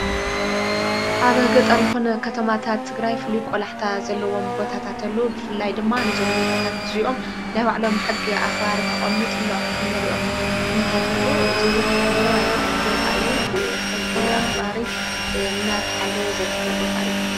ኣብ ገጠሪኹን ኸተማታት ትግራይፍሉይ ቈላሕታ ዘለዎም ቦታታተሉ ብፍላይ ድማ ነዞም ቦታታት እዙይኦም ናይዋዕሎም ሕጊ ኣኽባሪ ተቖሚጡሎም እንርኦም ኲነታተሎ እዙይውን ሓምለዋይ ቦታ እዩ ብሕጊ ኣኽባሪ እናተሓለ ዘርከ ቦታ እዩ።